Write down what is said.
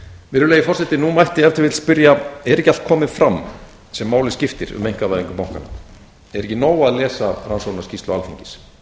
virðulegi forseti nú mætti ef til vill spyrja er ekki allt komið fram sem máli skiptir um einkavæðingu bankanna er ekki nóg að lesa rannsóknarskýrslu alþingis